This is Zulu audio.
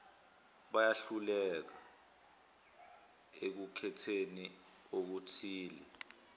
bayehluka ekukhetheni okuthile